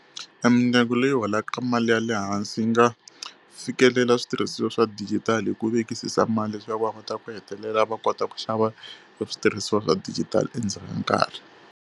E mindyangu leyi holaka mali ya le hansi yi nga fikelela switirhisiwa swa dijitali hi ku vekisisa mali leswaku va kota ku hetelela va kota ku xava e switirhisiwa swa dijitali endzhaku ka nkarhi.